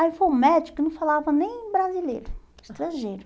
Aí foi um médico que não falava nem brasileiro, estrangeiro.